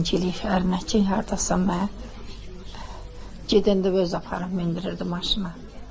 Zəng eləyib ərinə ki, hardasan mən gedəndə özü aparıb mindirirdi maşına.